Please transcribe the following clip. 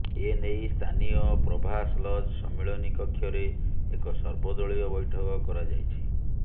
ଏନେଇ ସ୍ଥାନୀୟ ପ୍ରଭାସ ଲଜ ସମ୍ମିଳନୀ କକ୍ଷରେ ଏକ ସର୍ବଦଳୀୟ ବୈଠକ କରାଯାଇଛି